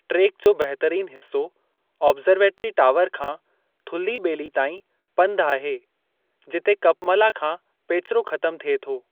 Track जो बहितरीनु हिस्सो ऑब्ज़र्वेटरी टावर खां थुल्ही ॿेली ताईं पंधु आहे जिते कपमला खां पेचिरो ख़तमु थिए थो।